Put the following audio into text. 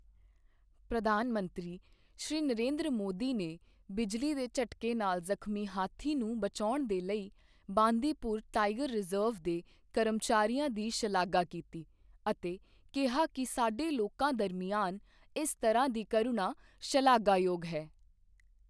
ਪ੍ਰਧਾਨ ਮੰਤਰੀ, ਸ਼੍ਰੀ ਨਰਿੰਦਰ ਮੋਦੀ ਨੇ ਬਿਜਲੀ ਦੇ ਝਟਕੇ ਨਾਲ ਜਖ਼ਮੀ ਹਾਥੀ ਨੂੰ ਬਚਾਉਣ ਦੇ ਲਈ ਬਾਂਦੀਪੁਰ ਟਾਈਗਰ ਰਿਜ਼ਰਵ ਦੇ ਕਰਮਚਾਰੀਆਂ ਦੀ ਸ਼ਲਾਘਾ ਕੀਤੀ ਅਤੇ ਕਿਹਾ ਕਿ ਸਾਡੇ ਲੋਕਾਂ ਦਰਮਿਆਨ ਇਸ ਤਰ੍ਹਾਂ ਦੀ ਕਰੂਣਾ ਸ਼ਲਾਘਾਯੋਗ ਹੈ।